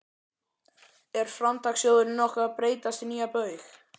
Er Framtakssjóðurinn nokkuð að breytast í nýja Baug?